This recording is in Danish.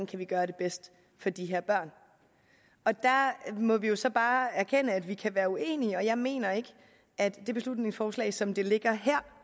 kan gøre det bedste for de her børn der må vi jo så bare erkende at vi kan være uenige jeg mener ikke at det beslutningsforslag som det ligger her